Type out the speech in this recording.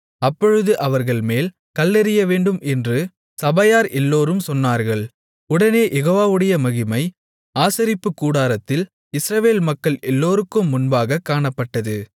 அப்பொழுது அவர்கள்மேல் கல்லெறியவேண்டும் என்று சபையார் எல்லோரும் சொன்னார்கள் உடனே யெகோவாவுடைய மகிமை ஆசரிப்புக்கூடாரத்தில் இஸ்ரவேல் மக்கள் எல்லோருக்கும் முன்பாகக் காணப்பட்டது